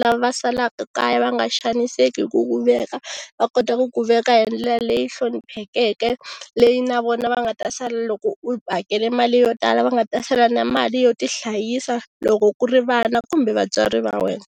lava salaka kaya va nga xaniseki hi ku ku veka, va kota ku ku veka hi ndlela leyi hloniphekeke leyi na vona va nga ta sala loko u hakela mali yo tala va nga ta sala na mali yo tihlayisa loko ku ri vana kumbe vatswari va wena.